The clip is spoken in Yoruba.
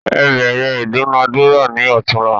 Ẹ bẹ̀rẹ ìdúnadúrà ni otunla